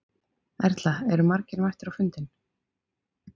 Erla, eru margir mættir á fundinn?